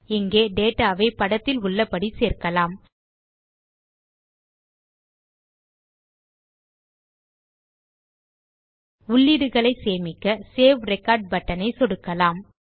இங்கே டேட்டா வை படத்தில் உள்ளபடி சேர்க்கலாம்ltpausegt உள்ளீடுகளை சேமிக்க சேவ் ரெக்கார்ட் பட்டன் ஐ சொடுக்கலாம்